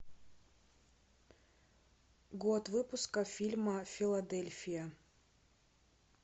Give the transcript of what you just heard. год выпуска фильма филадельфия